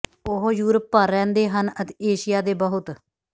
ਉਹ ਯੂਰਪ ਭਰ ਰਹਿੰਦੇ ਹਨ ਅਤੇ ਏਸ਼ੀਆ ਦੇ ਬਹੁਤ